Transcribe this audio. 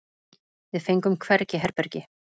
Við fengum hvergi herbergi.